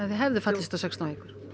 við hefðum fallist á sextán vikur